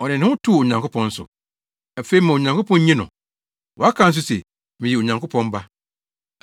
Ɔde ne ho too Onyankopɔn so. Afei ma Onyankopɔn nnye no! Waka nso se, ‘Meyɛ Onyankopɔn Ba.’ ”